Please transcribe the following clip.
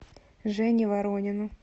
жене воронину